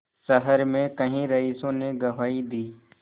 शहर में कई रईसों ने गवाही दी